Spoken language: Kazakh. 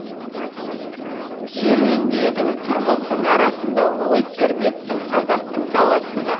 серуендедің қырғыздың арасында ой тербеттің қазақтың даласында